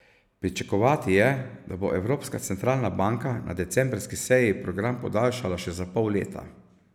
Pričakovati je, da bo Evropska centralna banka na decembrski seji program podaljšala še za pol leta.